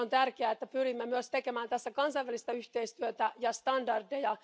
On tärkeää, että pyrimme myös tekemään tässä kansainvälistä yhteistyötä ja standardeja.